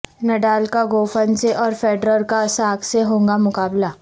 Nadal کا Goffin سے اور فیڈرر کا ساک سے ہوگا مقابلہ